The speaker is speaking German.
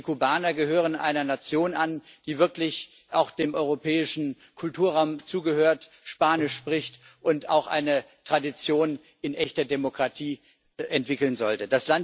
Denn die Kubaner gehören einer Nation an, die wirklich auch dem europäischen Kulturraum zugehört, Spanisch spricht und auch eine Tradition in echter Demokratie entwickeln sollte.